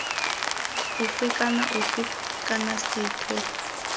ofe kana ofe kana sethwe